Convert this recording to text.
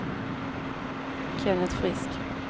Kenneth Frisk